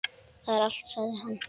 Það er allt, sagði hann.